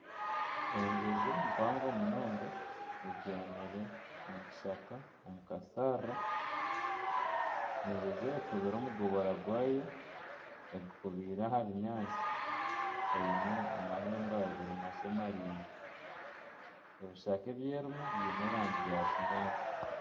Enjojo mpango munonga ebyamire omu kishaka omu kasharira, enjojo ekubire omugobora gwayo egukubiire aha binyaatsi eine amahembe abiri makye maraingwa ebishaka ebi erimu biine erangi ya kinyaatsi.